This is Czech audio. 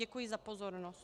Děkuji za pozornost.